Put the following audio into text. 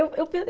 Eu eu